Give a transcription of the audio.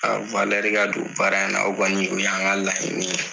A ka don baara in na o y'an ka laɲini ye